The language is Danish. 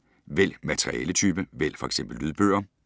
Vælg materialetype: vælg f.eks. lydbøger